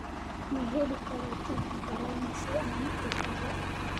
ma heli karaa tigidh tareen si aan u tago